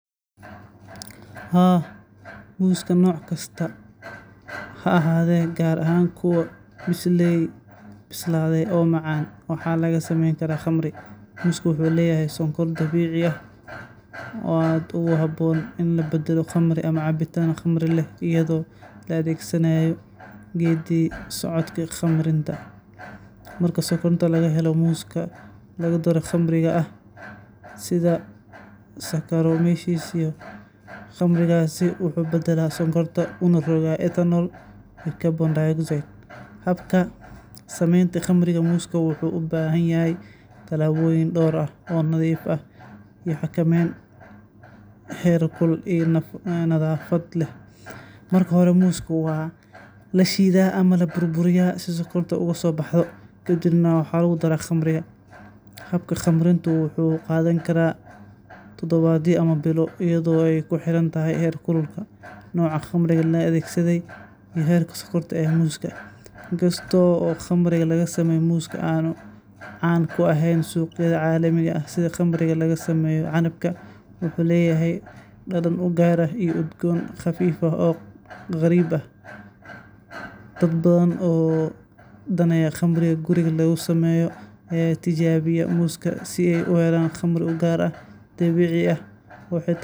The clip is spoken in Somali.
Muuska noocaan ah, oo ah mid aad u macaan isla markaana leh dhadhan udgoon oo dabiici ah, waxaa suurtagal ah in lagu sameeyo khamri muus ah, taas oo ah cabitaan khamri ah oo laga sameeyo miraha muuska iyadoo la adeegsanayo habka khamiirka si ay u soo saarto khamri khafiif ah oo leh dhadhan macaan iyo udgoon gaar ah. Samaynta khamriga muuska waxay ku xirnaan kartaa tayada muuska la isticmaalayo, heerka bislaanta, iyo sidoo kale habka farsamada ee lagu farsameynayo, sida ku darista khamiirka, sonkorta, iyo waqtiga khamiirinta. Inta badan, muuska la isticmaalo waa inuu noqdaa mid cusub oo aan lahayn waxyeelo si loo helo khamri tayo leh.